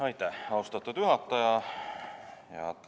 Aitäh, austatud juhataja!